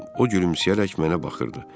O gülümsəyərək mənə baxırdı.